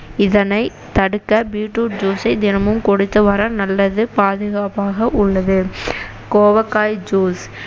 இதனைத் தடுக்க beet root juice ஐ தினமும் குடித்து வர நல்லது பாதுகாப்பாக உள்ளது கோவக்காய் juice